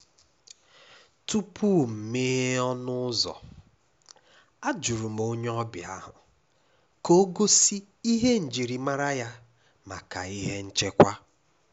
Tupu m meghee ọnụ ụ́zọ́, àjụrụ m onye ọbịa ahụ ka ọ gosi ihe njirimara ya maka ihe nchekwa.